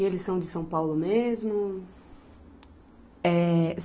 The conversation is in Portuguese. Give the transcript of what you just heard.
E eles são de São Paulo mesmo? É